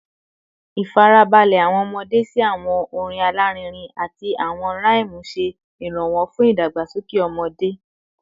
Ifarabalẹ awọn ọmọde si awọn orin alarinrin ati awọn rhythm ṣe iranlọwọ fun idagbasoke ede